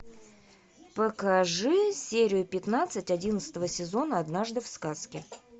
покажи серию пятнадцать одиннадцатого сезона однажды в сказке